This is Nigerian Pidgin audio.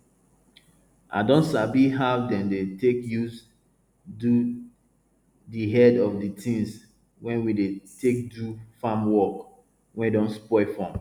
i don sabi how dem dey take use do di head of di tins wey we dey take do farm work wey don spoil from